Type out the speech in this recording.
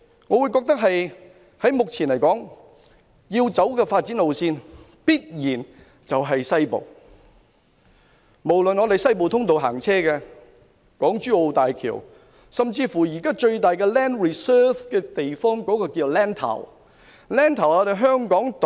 我認為目前要走的發展路線必然在西面，不論是西部通道、港珠澳大橋，甚至現在擁有最大量 land reserve 的地方，均位於西面。